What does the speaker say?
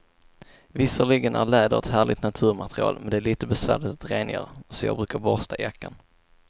Visserligen är läder ett härligt naturmaterial, men det är lite besvärligt att rengöra, så jag brukar borsta jackan.